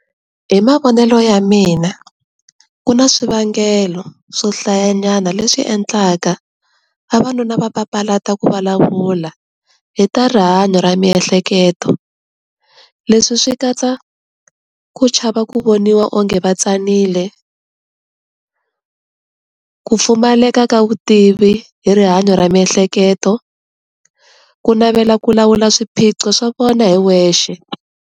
Hi mavonelo ya mina ku na swivangelo swohlayanyana leswi endlaka vavanuna va papalata ku vulavula hi ta rihanyo ra miehleketo leswi swi katsa ku chava ku voniwa o nge va tsanile, ku pfumaleka ka vutivi hi rihanyo ra miehleketo, ku navela ku lawula swiphiqo swa vona hi wexe.